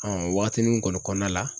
o wagatini kɔni kɔnɔna la